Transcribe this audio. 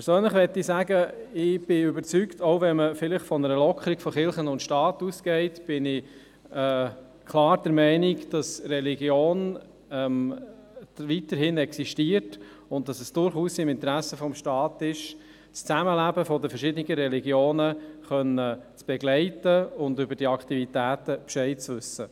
Persönlich möchte ich sagen: Ich bin überzeugt, dass auch wenn man von einer Lockerung zwischen Kirche und Staat ausgeht, die Religion weiterhin existiert und es durchaus im Interesse des Staates ist, das Zusammenleben der verschiedenen Religionen begleiten zu können und über deren Aktivitäten Bescheid zu wissen.